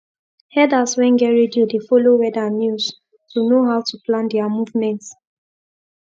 herders wen get radio dey follow weather news to know how to plan their movement